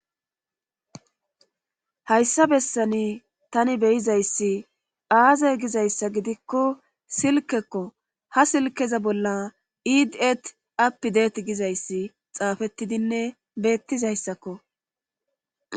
hayssa bessani tani beyizayssi aazay gizayssa gidikko silkekko ha silkeza bolla iidi7et appi deet gizayssi xaafettidinne beettizayssakko